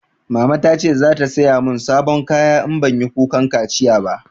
Mama ta ce za ta saya mun sabon kaya in banyi kukan kaciya ba